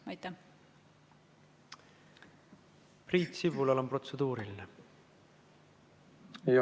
Priit Sibulal on protseduuriline küsimus.